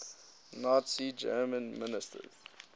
nazi germany ministers